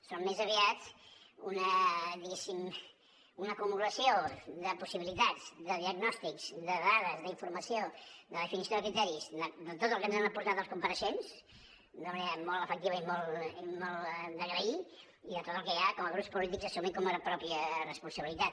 són més aviat diguéssim una acumulació de possibilitats de diagnòstics de dades d’informació de definició de criteris de tot el que ens han aportat els compareixents d’una manera molt efectiva i molt d’agrair i de tot el que ja com a grups polítics assumim com a pròpia responsabilitat